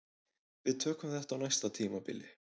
Við tökum þetta á næsta tímabili